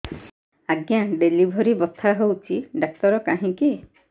ଆଜ୍ଞା ଡେଲିଭରି ବଥା ହଉଚି ଡାକ୍ତର କାହିଁ କି